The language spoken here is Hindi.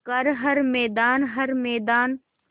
कर हर मैदान हर मैदान